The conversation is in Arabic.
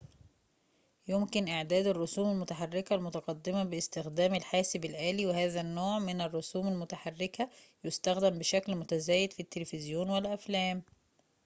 يمكن إعداد الرسوم المتحركة المتقدمة باستخدام الحاسب الآلي وهذا النوع من الرسوم المتحركة يُستخدَم بشكل متزايد في التلفزيون والأفلام